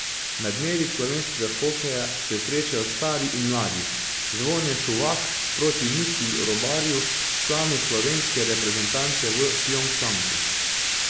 Na dnevih slovenskega hokeja se srečajo stari in mladi, Zvone Šuvak proti Mitji Robarju, članu slovenske reprezentance v Pjongčangu.